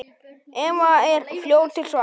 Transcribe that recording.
Eva er fljót til svars.